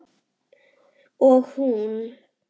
Og hún.